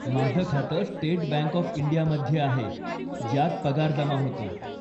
माझं खातं state bank of इंडियामध्ये आहे ज्यात पगार जमा होतो.